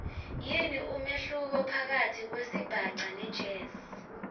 yini umehluko phakatsi kwesibhaca nejazz